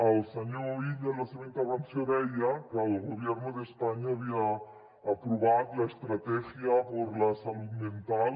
el senyor illa en la seva intervenció deia que el gobierno de españa havia aprovat la estrategia por la salud mental